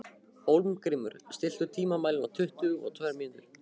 Hólmgrímur, stilltu tímamælinn á tuttugu og tvær mínútur.